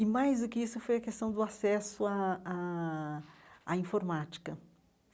E mais do que isso foi a questão do acesso à à à informática.